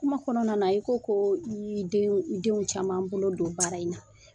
Kuma kɔnɔna na i ko ko i y'i den denw caman bolo don baara in na